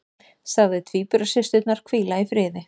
Sagði tvíburasysturnar hvíla í friði